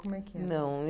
Como era? Não